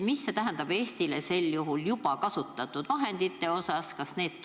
Mida see tähendab Eestile juba kasutatud vahendite osas?